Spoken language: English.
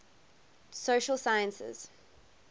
social sciences